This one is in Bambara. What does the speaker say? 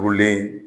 Turulen